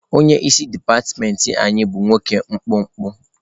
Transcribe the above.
Onye isi dipatịmentị anyị bụ nwoke mkpụmkpụ.